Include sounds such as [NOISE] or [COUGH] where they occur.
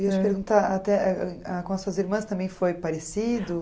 Eu ia te perguntar, [UNINTELLIGIBLE] com as suas irmãs também foi parecido?